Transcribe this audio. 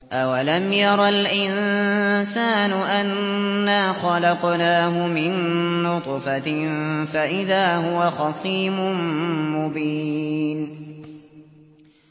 أَوَلَمْ يَرَ الْإِنسَانُ أَنَّا خَلَقْنَاهُ مِن نُّطْفَةٍ فَإِذَا هُوَ خَصِيمٌ مُّبِينٌ